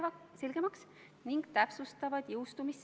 Palun seda toetada!